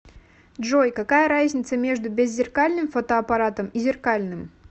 джой какая разница между беззеркальным фотоаппаратом и зеркальным